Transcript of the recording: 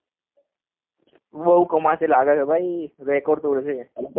બઉ કમાશે લાગે છે ભાઈ રકોર્દ તોડશે